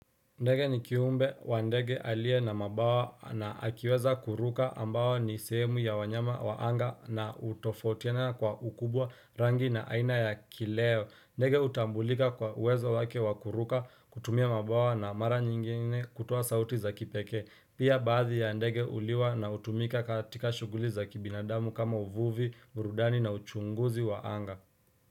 Ndege nikiumbe wa ndege alie na mabawa na akiweza kuruka ambawa ni semu ya wanyama waanga na utofautiana kwa ukubwa rangi na aina ya kileo ndege utambulika kwa uwezo wake wakuruka kutumia mabawa na maranyingine kutowa sauti za kipeke pia baadhi ya ndege uliwa na utumika katika shuguli za kibinadamu kama uvuvi urudani na uchunguzi waanga.